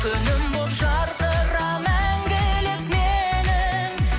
күнім болып жарқыра мәңгілік менің